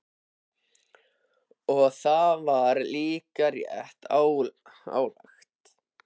Og það var líka rétt ályktað.